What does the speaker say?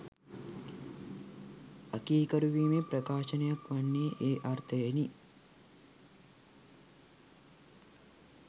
අකීකරුවීමේ ප්‍රකාශනයක් වන්නේ ඒ අර්ථයෙනි.